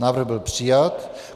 Návrh byl přijat.